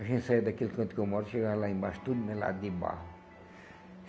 A gente saia daquele canto que eu moro, chegava lá embaixo, tudo melado de barro.